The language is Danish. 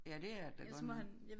Ja det er det da godt nok